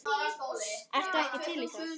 Ertu ekki til í það?